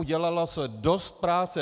Udělalo se dost práce.